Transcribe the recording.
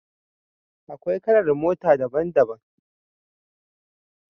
Akwai kalar mota daban-daban.